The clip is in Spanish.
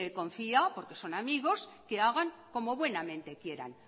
confió porque son amigos que hagan como buenamente quieran